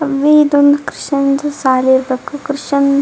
ಆವಿ ಇದೊಂದ್ ಕ್ರಿಶ್ಚನ್ ಶಾಲಿ ಇರ್ಬೇಕು ಕ್ರಿಶ್ಚನ್ --